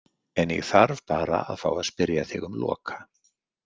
En ég þarf bara að fá að spyrja þig um Loka.